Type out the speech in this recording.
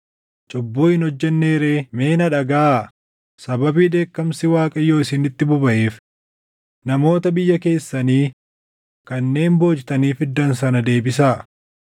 Mee na dhagaʼaa! Sababii dheekkamsi Waaqayyoo isinitti bobaʼeef namoota biyya keessanii kanneen boojitanii fiddan sana deebisaa.”